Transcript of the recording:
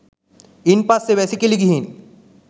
ඉන් පස්සේ වැසිකිලි ගිහින්